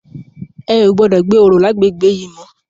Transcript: È ó gbòdò gbé óró làgbégbé yi mò